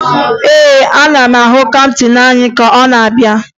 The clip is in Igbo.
Ee, ana m ahụ kaptịn anyị ka ọ na-abịa